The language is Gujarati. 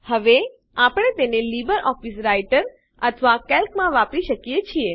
હવે આપણે તેને લીબરઓફીસ રાઈટર અથવા કેલ્કમાં વાપરી શકીએ છીએ